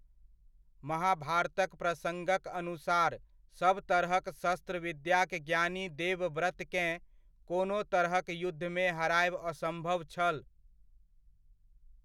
महाभारतक प्रसङ्गक अनुसार सब तरहक शस्त्र विद्याक ज्ञानी देवव्रतकेँ, कोनो तरहक युद्धमे हरायब असम्भव छल।